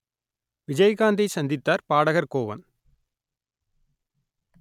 விஜயகாந்தை சந்தித்தார் பாடகர் கோவன்